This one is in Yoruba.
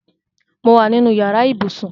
Mo wa nínú yàrá ibùsùn